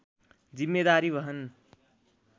जिम्मेदारी वहन